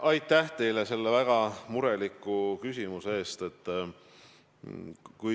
Aitäh teile selle väga mureliku küsimuse eest!